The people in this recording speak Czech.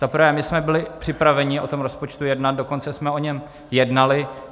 Za prvé, my jsme byli připraveni o tom rozpočtu jednat, dokonce jsme o něm jednali.